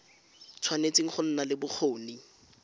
tshwanetse go nna le bokgoni